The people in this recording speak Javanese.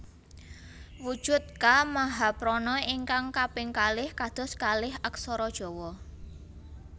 Wujud Ka mahaprana ingkang kaping kalih kados kalih aksara Jawa